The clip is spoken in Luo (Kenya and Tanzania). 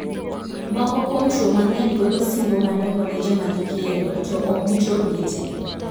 Moko kuom chwo mang'eny golo singo madongo ne joma gikendo to ok gichopgi tee.